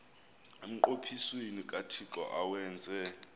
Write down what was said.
emnqophisweni kathixo awenze